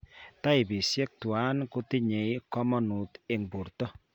Taipisiek twan kotinnye komonuut eng' borto